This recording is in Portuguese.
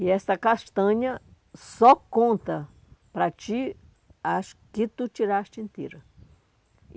E essa castanha só conta para ti as que tu tiraste inteira.